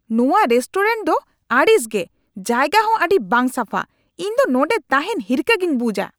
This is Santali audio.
ᱱᱚᱶᱟ ᱨᱮᱥᱴᱳᱨᱮᱱᱴ ᱫᱚ ᱟᱹᱲᱤᱥ ᱜᱮ, ᱡᱟᱭᱜᱟ ᱦᱚᱸ ᱟᱹᱰᱤ ᱵᱟᱝ ᱥᱟᱯᱷᱟ, ᱤᱧ ᱫᱚ ᱱᱚᱸᱰᱮ ᱛᱟᱦᱮᱱ ᱦᱤᱨᱠᱷᱟᱹ ᱜᱤᱧ ᱵᱩᱡᱷᱼᱟ ᱾